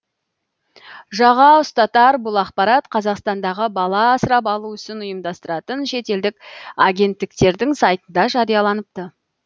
жаға ұстатар бұл ақпарат қазақстандағы бала асырап алу ісін ұйымдастыратын шетелдік агенттіктердің сайтында жарияланыпты